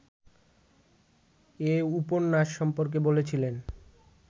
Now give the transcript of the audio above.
এ উপন্যাস সম্পর্কে বলেছিলেন